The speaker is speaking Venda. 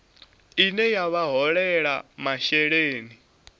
ine ya vha holela masheleni